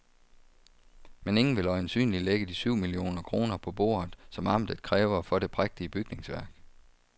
Men ingen vil øjensynligt lægge de syv millioner kroner på bordet, som amtet kræver for det prægtige bygningsværk.